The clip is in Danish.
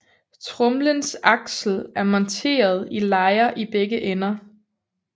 Tromlens aksel er monteret i lejer i begge ender